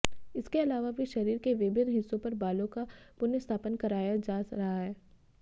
इसके अलावा भी शरीर के विभिन्न हिस्सों पर बालों का पुनर्स्थापन कराया जा रहा है